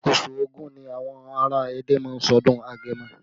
Oṣù Ògún ni àwọn ará Ẹdẹ má ń ṣe ọdún agẹmọ